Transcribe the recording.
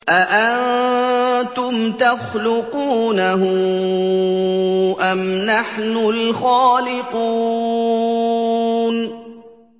أَأَنتُمْ تَخْلُقُونَهُ أَمْ نَحْنُ الْخَالِقُونَ